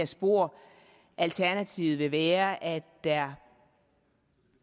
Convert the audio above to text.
spor alternativet vil være at der